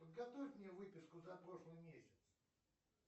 подготовь мне выписку за прошлый месяц